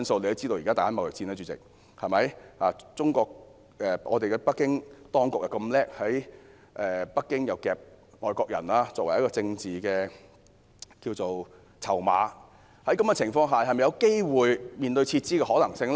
主席，現時正上演中美貿易戰，北京當局非常聰明，以外國人作為政治籌碼，在這樣的情況下，是否有機會面對撤資的可能性呢？